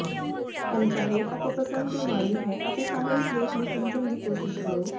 ਅਨਚਾਹੇ ਅਤੇ ਪਸੰਦ ਦੇ ਵਾਰੀ ਹੈ ਅਤੇ ਸਾਨੂੰ ਇਸ ਲੇਖ ਨੂੰ ਸਮਝਣ ਦੀ ਕੋਸ਼ਿਸ਼ ਕਰੋ